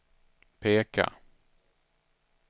peka